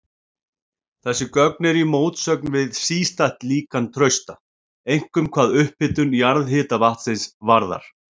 Þessi gögn eru í mótsögn við sístætt líkan Trausta, einkum hvað upphitun jarðhitavatnsins varðar.